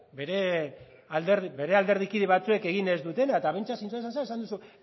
bere alderdikide batzuek egin ez dutena eta behintzat zintzotasunez esan duzu